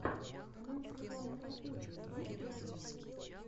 канал светланы кропочевой есть ли у тебя